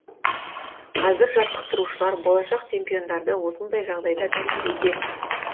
қазір жаттықтырушылар болашақ чемпиондарды осындай жағдайда тәрбиелеуде